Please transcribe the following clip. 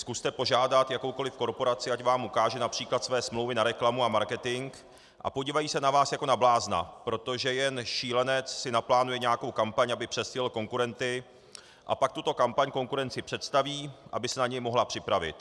Zkuste požádat jakoukoli korporaci, ať vám ukáže například své smlouvy na reklamu a marketing, a podívají se na vás jako na blázna, protože jen šílenec si naplánuje nějakou kampaň, aby předstihl konkurenty, a pak tuto kampaň konkurenci představí, aby se na ni mohla připravit.